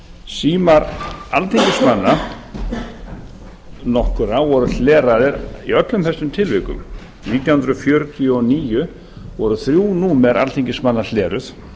símar alþingismanna nokkurra voru hleraðir í öllum þessum tilvikum nítján hundruð fjörutíu og níu voru þrjú númer alþingismanna hleruð